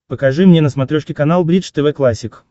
покажи мне на смотрешке канал бридж тв классик